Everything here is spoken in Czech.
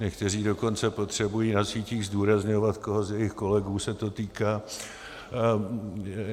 Někteří dokonce potřebují na sítích zdůrazňovat, koho z jejich kolegů se to týká.